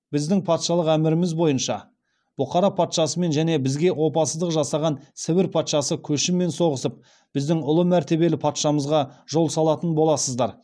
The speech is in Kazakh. біздің патшалық қоластымызда болғандықтан және біздің патшалық әміріміз бойынша бұқара патшасымен және бізге опасыздық жасаған сібір патшасы көшіммен соғысып біздің ұлы мәртебелі патшамызға жол салатын боласыздар